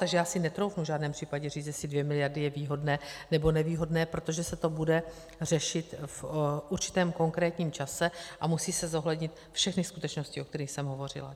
Takže já si netroufnu v žádném případě říct, jestli 2 miliardy je výhodné, nebo nevýhodné, protože se to bude řešit v určitém konkrétním čase a musí se zohlednit všechny skutečnosti, o kterých jsem hovořila.